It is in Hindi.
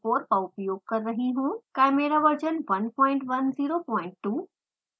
chimera version 1102